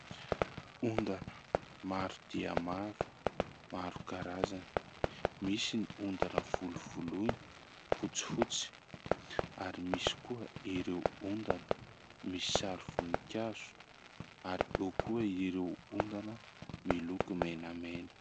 Ondana maro dia maro, maro karazany : misy ny ondana volovoloina fotsifotsy ary misy koa ireo ondana misy sary voninkazo ary eo koa ireo ondana miloko menamena.